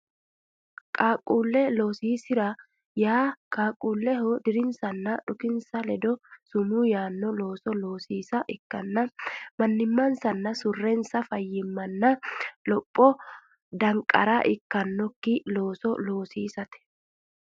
Qaaqquulle loosiisi ra yaa qaaqquulleho dirinsanna dhukinsa ledo sumuu yaanno looso loosiisa ikkanna mannimmansanna surrensa fayyimmaranna lophora danqara ikkannokki looso loosiisate.